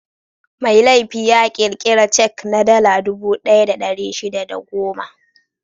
Mai laifi ya ƙirƙira cek na Dala dubu ɗaya da ɗari shida da goma.